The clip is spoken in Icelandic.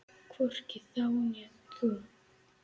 Hvorki þá né nú.